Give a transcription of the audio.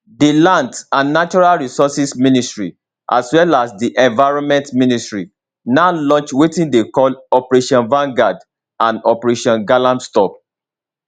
di lands and natural resources ministry as well as di environment ministry now launch wetin dey call operationvangard and operationgalamstop